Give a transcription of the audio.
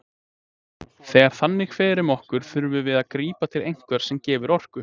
Þegar þannig fer um okkur þurfum við að grípa til einhvers sem gefur orku.